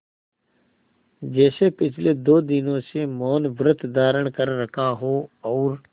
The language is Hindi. जैसे पिछले दो दिनों से मौनव्रत धारण कर रखा हो और